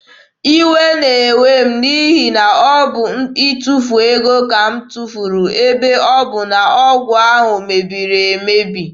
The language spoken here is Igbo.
Iwe na-ewe m n'ihi na ọ bụ itufu ego ka m tufuru ebe ọ bụ na ọgwụ ahụ mebiri emebi.